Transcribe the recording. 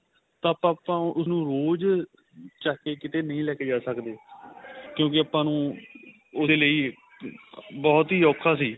ਤਾਂ ਆਪਾਂ ਉਸ ਨੂੰ ਰੋਜ ਚੱਕ ਕੇ ਕੀਤੇ ਨਹੀਂ ਲੈ ਕੇ ਜਾ ਸਕਦੇ ਕਿਉਂਕਿ ਆਪਾਂ ਨੂੰ ਉਹਦੇ ਲਈ ਬਹੁਤ ਔਖਾ ਸੀ